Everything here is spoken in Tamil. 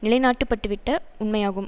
நிலைநாட்டப்பட்டுவிட்ட உண்மையாகும்